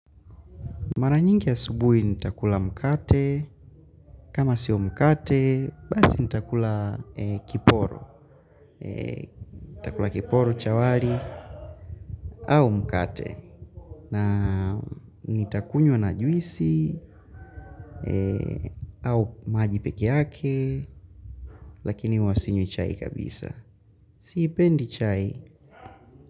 Mara nyingi ya asubuhi nitakula mkate, kama sio mkate, basi nitakula kiporo kiporo, cha wali, au mkate. Na nitakunywa na juisi, au maji peke yake, lakini huwa sinywi chai kabisa. Sipendi chai.